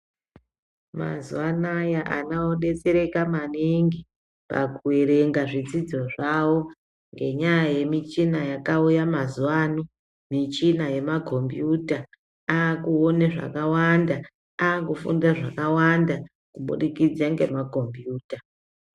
Mazuva anaya ana odetsereka maningi pakuerenga zvidzidzo zvavo ngenyaa yemichina yakauya mazuva ano, michina yemakombuyuta akuone zvakawanda aakufunda zvakawanda mubudikidze ngemakombiyuta.